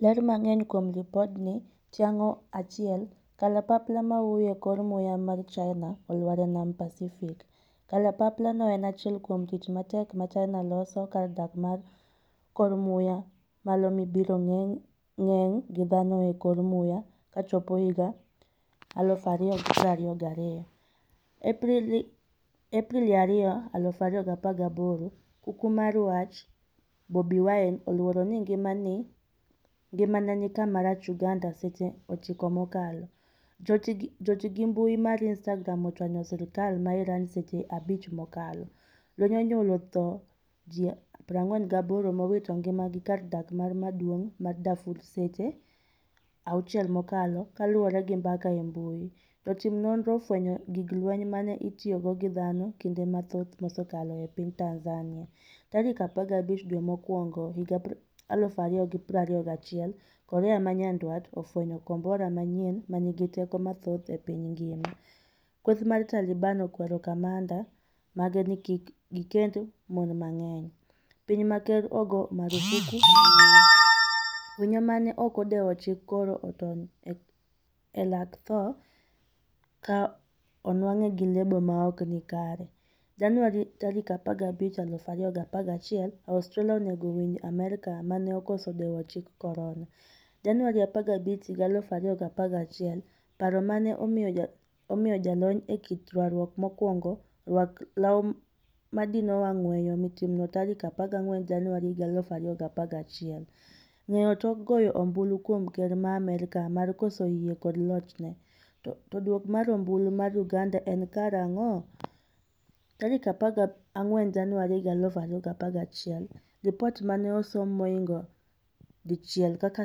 Ler mang'eny kuom lipodni, Tiangong-1: Kalapapla mahuyo e kor muya mar China olwar e nam Pasifik. Kalapapla no en achiel kuom tich matek ma China loso kar dak mar kor muya malo mibiro geng' gi dhano e kor muya kochopo higa 2022. Aprili 2, 2018, kuku mar wach: Bobi Wine oluoro ni ngimane ni kama rach' Uganda Seche 9 mokalo. Joti gi mbui mar Instagram ochwanyo sirkal ma Iran seche 5 mokalo. Lweny onyuolo thoe ji 48 mowito ngima gi kar dak maduong' ma Darfur Seche 6 mokalo kaluore gi mbaka e mbui. Jotim nonro ofwenyo gig lweny mane itiyogo gi dhano kinde mathoth mosekalo e piny Tanzania. Tarik 15 dwe mokwongo higa 2021 korea manyandwat ofwenyo kombora manyien manigi teko mathoth e piny ngima. Kweth mar Taliban okwero kamanda mage ni kik gikend mon mang'eny. Piny ma ker ogo marufuku mbui. Winyo mane ok odewo chik korona otony e lak tho ka onwang'e gi lebo maokni kare. Januari 15, 2021, Australia onego winj Amerka mane okoso dewo chik korona. Januari 15, 2021, Paro mane omiyo jalony e kit rwakruok mokwongo rwako law madino wang' weyo timno tarik 14 Januari 2021. Ng'eyo tok goyo ombulu kuom ker ma Amerka mar koso yie kod lochne? To duoko mar ombulu mar Uganda en karang'o? 14 Januari 2021, Lipot mane osom mohingo 1 kaka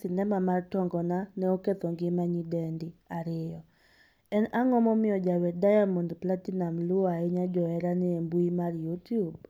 sinema mar tongona ne oketho ngima nyidendi 2. En ang'o momiyo jawer Diamond Platinumz luwo ahinya joherane embui mar Youtube?